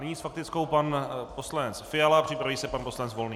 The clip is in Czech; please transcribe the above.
Nyní s faktickou pan poslanec Fiala, připraví se pan poslanec Volný.